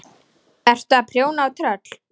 Ertu að prjóna á tröll?